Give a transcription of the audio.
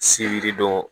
Se yiri dɔn